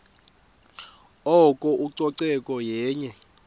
oko ucoceko yenye